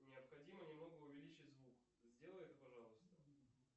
необходимо немного увеличить звук сделай это пожалуйста